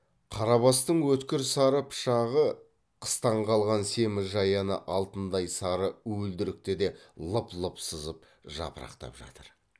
қарабастың өткір сары пышағы қыстан қалған семіз жаяны да алтындай сары уілдірікті де лып лып сызып жапырақтап жатыр